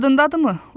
Yadındadırımı?